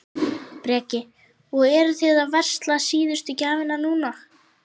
Breki: Og eruð þið að versla síðustu gjafirnar núna?